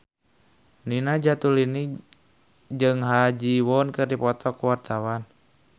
Nina Zatulini jeung Ha Ji Won keur dipoto ku wartawan